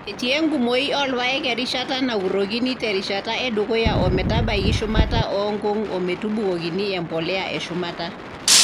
Etii enkumoi oorpaek erishata nakurokini te rishata e dukuya o metabaiki shumata oo nkung o metubokini empolea e shumata.